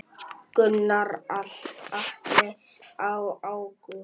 Gunnar Atli: Í ágúst?